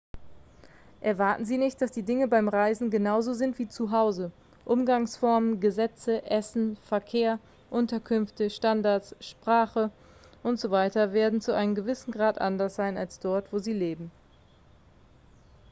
erwarten sie nicht dass die dinge beim reisen genau so sind wie zu hause umgangsformen gesetze essen verkehr unterkünfte standards spache und so weiter werden zu einem gewissen grad anders sein als dort wo sie leben